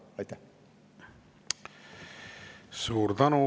Suur tänu!